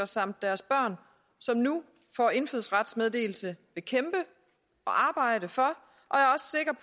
samt deres børn som nu får indfødsrets meddelelse vil kæmpe og arbejde for